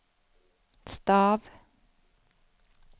stav